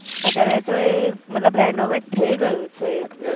અત્યારે તો એ મતલબ renovate થયું છે એ bridge